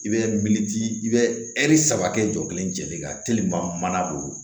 I bɛ miiri ji i bɛ ɛri saba kɛ jɔ kelen kan mana don